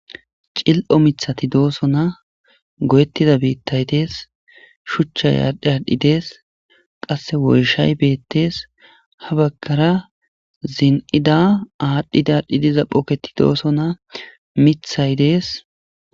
cil7o mithati dooso na go7ettida biittay dees shuchchay aadhdhi aadhdhi dees qasse woyshay beettees ha baggara zin7ida aadhdhidaaadhdhi diza phooketi dooso na mithay dees